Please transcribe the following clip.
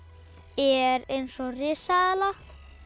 er eins og risaeðla